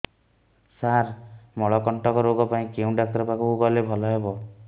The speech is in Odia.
ସାର ମଳକଣ୍ଟକ ରୋଗ ପାଇଁ କେଉଁ ଡକ୍ଟର ପାଖକୁ ଗଲେ ଭଲ ହେବ